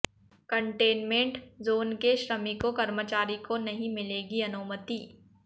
containment zone के श्रमिकों कर्मचारी को नहीं मिलेगी अनुमति